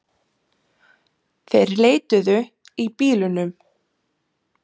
Þeir leituðu í bílunum